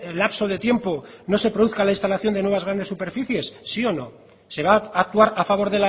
lapso de tiempo no se produzca la instalación de nuevas grandes superficies sí o no se va a actuar a favor